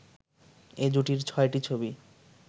এ জুটির ছয়টি ছবি